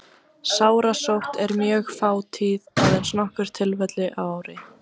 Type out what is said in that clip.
Sárasótt er mjög fátíð, aðeins nokkur tilfelli á ári.